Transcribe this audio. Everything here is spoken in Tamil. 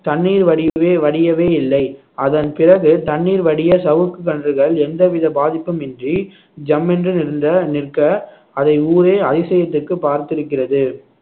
தண்ணீர் வடியவே வடியவே இல்லை அதன் பிறகு தண்ணீர் வடிய சவுக்கு கன்றுகள் எந்தவித பாதிப்பும் இன்றி ஜம்மென்று நிறைந்த நிற்க அதை ஊரே அதிசயத்திக்கு பார்த்திருக்கிறது